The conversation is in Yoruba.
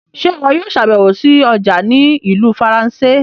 Ṣe iwọ yóò ṣabẹwo sí ọja ni Ìlú Faransé?